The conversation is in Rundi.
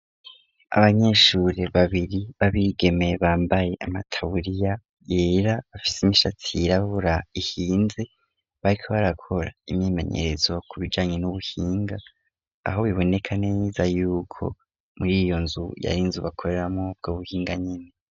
Abanyeshure babiri b'abigemeye bambaye amataburiya yera bafise imishatsi yirabura ihinze barika barakora imyemenyerezo ku bijanye n'ubuhinga aho biboneka neza yuko muri iyo nzu yari nze bakoreramwo ubwo buhinga nyene.